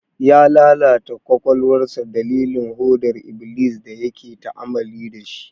Ya lalata kwakwalwarsa dalilin hodar iblis da yake ta'amali da shi.